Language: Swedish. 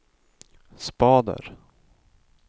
spader